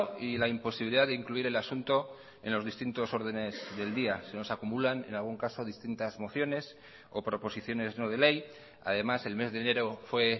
y la imposibilidad de incluir el asunto en los distintos órdenes del día se nos acumulan en algún caso distintas mociones o proposiciones no de ley además el mes de enero fue